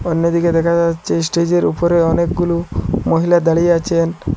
অন্যদিকে দেখা যাচ্ছে স্টেজের উপরে অনেকগুলো মহিলা দাঁড়িয়ে আছেন।